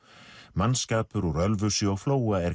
mannskapur úr Ölfusi og Flóa er